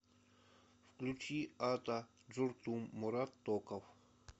включи ата джуртум мурат токов